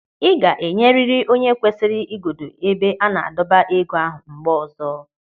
Ị ga-enyeriri onye o kwesịrị igodo ebe a na-adọba ego ahụ mgbe ọzọ.